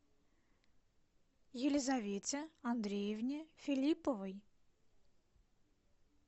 елизавете андреевне филипповой